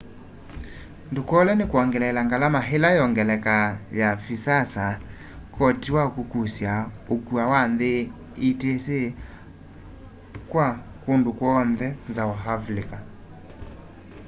ndukolwe ni kwongeleela ngalama ila yongeleka ya visas koti wa kukusya ukua wa nthi etc kwa kundu kw'oonthe nza wa avilika